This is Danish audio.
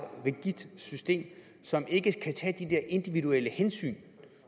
rigidt system som ikke kan tage de der individuelle hensyn